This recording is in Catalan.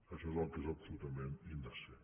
això és el que és absolutament indecent